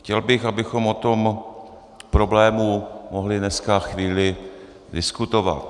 Chtěl bych, abychom o tom problému mohli dneska chvíli diskutovat.